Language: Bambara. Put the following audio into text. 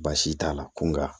Baasi t'a la ko nka